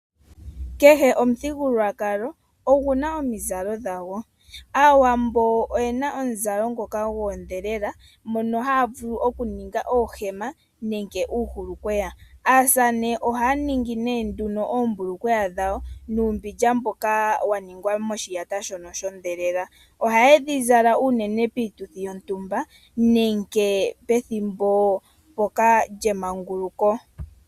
Kehe omuthigululwakalo oguna omizalo dhago. Aawambo oyena omuzalo ngoka goondhelela mono haya vulu oku ninga oohema nenge uuhulukweya. Aasamane ohaya ningi nee nduno oombulukweya dhawo nuumbilya mbyoka wa ningwa moshiyata shondhelela. Ohaye dha zala uunene piituthi yontumba nenge pethimbo mpoka lyemanguluko.